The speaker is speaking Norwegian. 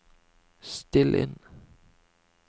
still inn